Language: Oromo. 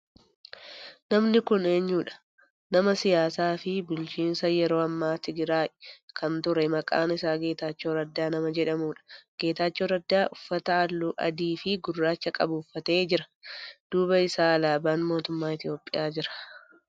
Namni kun eenyudha? Nama siyaasaa fi bulchiinsa yeroo naannoo Tigraay kan ture maqaan isaa Getaachoo Raddaa nama jedhamudha. Getaachoo Raddaa uffata halluu adii fi gurraacha qabu uffatee jira. Duuba isaa alaabaan mootummaa Itiyoophiyaa jira.